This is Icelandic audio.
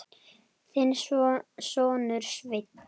Þinn sonur, Sveinn.